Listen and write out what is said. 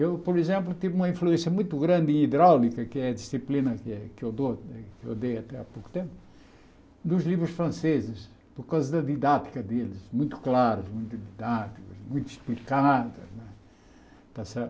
Eu, por exemplo, tive uma influência muito grande em hidráulica, que é a disciplina que eu dou que eu dei até há pouco tempo, dos livros franceses, por causa da didática deles, muito claros, muito didáticos, muito explicados. Está certo